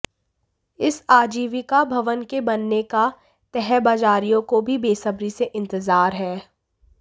इस आजीविका भवन के बनने का तहबाजारियों को भी बेसब्री से इतंजार है